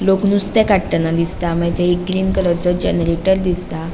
लोक नुस्ते काड़तान दिसता मागिर थंय एक ग्रीन कलरचो जनरेटर दिसता.